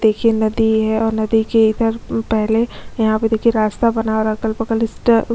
देखिये नदी है और नदी के इधर पहले यहाँ पे देखिये रास्ता बना रहा है और इधर अगल-बगल इस्टा--